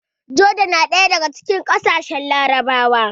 Joda na ɗaya daga cikin ƙasashen Larabawa